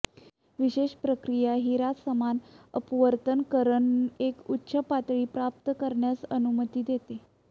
विशेष प्रक्रिया हिरा समान अपवर्तन किरण एक उच्च पातळी प्राप्त करण्यास अनुमती देते